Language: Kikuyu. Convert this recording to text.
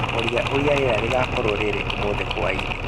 Ũria ũrĩa rĩera rĩgaakorũo rĩrĩ ũmũthĩ hwaĩ-inĩ